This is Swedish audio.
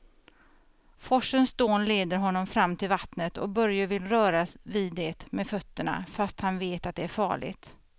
Forsens dån leder honom fram till vattnet och Börje vill röra vid det med fötterna, fast han vet att det är farligt.